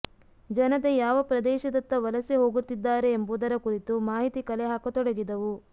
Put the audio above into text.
ಜನತೆ ಯಾವ ಪ್ರದೇಶದತ್ತ ವಲಸೆ ಹೋಗುತಿದ್ದಾರೆ ಎಂಬುದರ ಕುರಿತು ಮಾಹಿತಿ ಕಲೆ ಹಾಕತೊಡಗಿದವು